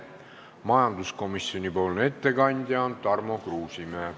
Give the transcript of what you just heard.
Majanduskomisjoni ettekandja on Tarmo Kruusimäe.